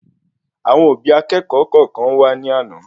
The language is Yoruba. Àwọn òbí akékòó kọọkan wà ní àna